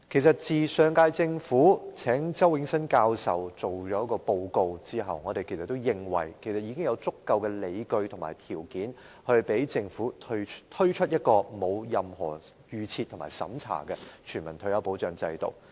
自上屆政府邀請周永新教授進行研究和提交報告後，我們認為已有足夠的理據和條件，讓政府推出沒有任何預設和審查的全民退休保障制度。